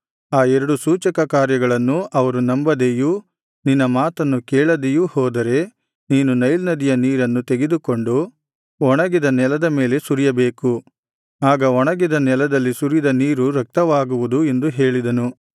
ಆ ಎರಡು ಸೂಚಕಕಾರ್ಯಗಳನ್ನೂ ಅವರು ನಂಬದೆಯೂ ನಿನ್ನ ಮಾತನ್ನು ಕೇಳದೆಯೂ ಹೋದರೆ ನೀನು ನೈಲ್ ನದಿಯ ನೀರನ್ನು ತೆಗೆದುಕೊಂಡು ಒಣಗಿದ ನೆಲದ ಮೇಲೆ ಸುರಿಯಬೇಕು ಆಗ ಒಣಗಿದ ನೆಲದಲ್ಲಿ ಸುರಿದ ನೀರು ರಕ್ತವಾಗುವುದು ಎಂದು ಹೇಳಿದನು